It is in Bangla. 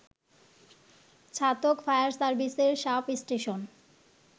ছাতক ফায়ার সার্ভিসের সাব স্টেশন